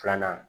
Filanan